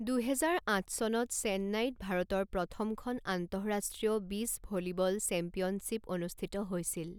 দুহেজাৰ আঠ চনত চেন্নাইত ভাৰতৰ প্ৰথমখন আন্তঃৰাষ্ট্ৰীয় বীচ ভলীবল চেম্পিয়নশ্বিপ অনুষ্ঠিত হৈছিল।